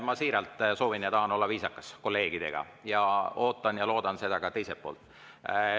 Ma siiralt soovin ja tahan olla kolleegidega viisakas ning ootan ja loodan seda ka teiselt poolt.